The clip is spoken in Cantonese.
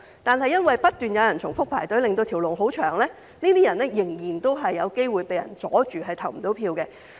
如果因為有人不斷重複排隊，令輪候隊伍甚長，這些人仍然有機會可能被人阻礙而無法投票。